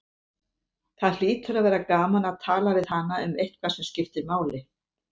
Það hlýtur að vera gaman að tala við hana um eitthvað sem skiptir máli.